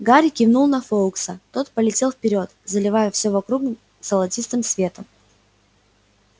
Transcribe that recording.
гарри кивнул на фоукса тот полетел вперёд заливая всё вокруг золотистым светом